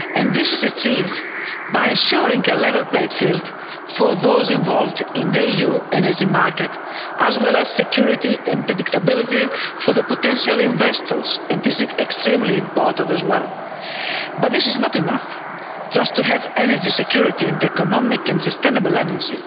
This is achieved by ensuring a level playing field for those involved in the EU energy market, as well as security and predictability for the potential investors, and this is extremely important as well. But it is not enough just to have energy security and economic and sustainable energy.